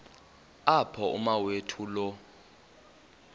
apho umawethu lo